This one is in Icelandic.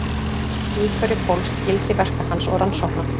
Í hverju fólst gildi verka hans og rannsókna?